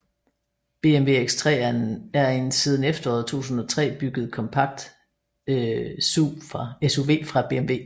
BMW X3 er en siden efteråret 2003 bygget kompakt SUV fra BMW